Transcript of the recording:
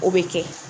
O bɛ kɛ